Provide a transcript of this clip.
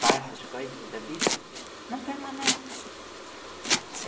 Passam as coisas da vida, não permanecem.